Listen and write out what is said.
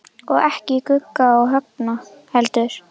Og ekki Gugga og Högna heldur.